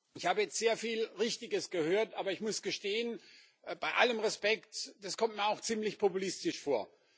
Ich habe jetzt sehr viel Richtiges gehört, aber ich muss gestehen bei allem Respekt Das kommt mir auch ziemlich populistisch vor.